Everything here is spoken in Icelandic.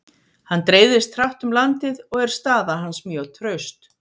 Hann dreifðist hratt um landið og er staða hans mjög traust.